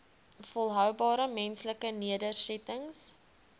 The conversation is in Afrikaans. volhoubare menslike nedersettings